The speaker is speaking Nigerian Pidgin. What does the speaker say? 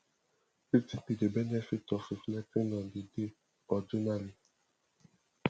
wetin be di benefit of reflecting on di day or journaling